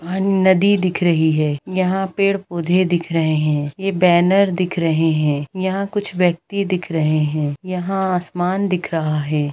यहाँ नदी दिख रही है यहाँ पेड़-पौधे दिख रहे है ये बैनर दिख रहे है यहाँ कुछ व्यक्ति दिख रहे है यहाँ आसमान दिख रहा है।